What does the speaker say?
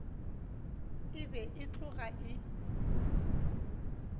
e be e tloga e